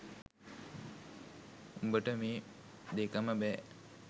උඹ‍ට මේ දෙකම බෑ